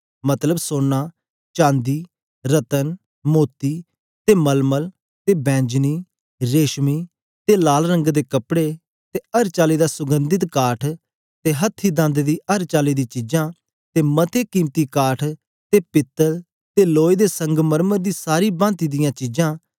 मतलब सोना चांदी रत्न मोती ते मलमल ते बैंजनी रेशमी ते लाल रंग दे कपड़े ते अर चाली दा सुगन्धित काठ ते हथी दंद दी अर चाली दी चीजां ते मते कीमती काठ ते पीतल ते लोए ते संगमरमर दी सारी भांति दियां चीजां